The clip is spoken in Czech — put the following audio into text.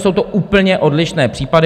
Jsou to úplně odlišné případy.